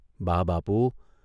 ' બા બાપુ !